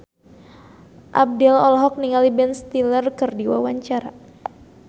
Abdel olohok ningali Ben Stiller keur diwawancara